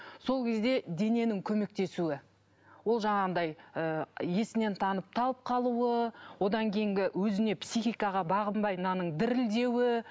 сол кезде дененің көмектесуі ол жаңағыдай ы есінен танып талып қалуы одан кейінгі өзіне психикаға бағынбай мынаның дірілдеуі